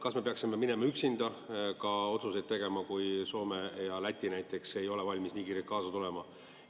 Kas me peaksime üksinda otsuseid tegema, kui näiteks Soome ja Läti ei ole valmis nii kiirelt kaasa tulema?